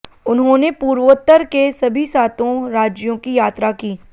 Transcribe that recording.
उन्होंने पूर्वोत्तर के सभी सातों राज्यों की यात्रा की